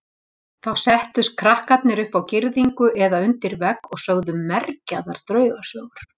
Þá settust krakkarnir upp á girðingu eða undir vegg og sögðu mergjaðar draugasögur.